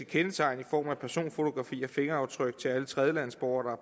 kendetegn i form af personfotografier og fingeraftryk til alle tredjelandsborgere